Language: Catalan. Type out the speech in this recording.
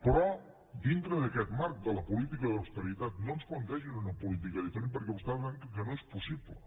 però dintre d’aquest marc de la política d’austeritat no ens plantegin una política diferent perquè vostès saben que no és possible